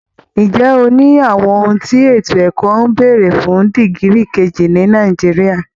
Ǹjẹ́ o ní àwọn ohun tí ètò ẹ̀kọ́ ń béèrè fún dìgírì kejì ní Nàìjíríà?